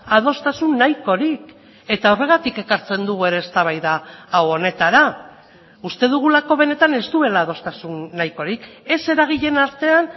adostasun nahikorik eta horregatik ekartzen dugu ere eztabaida hau honetara uste dugulako benetan ez duela adostasun nahikorik ez eragileen artean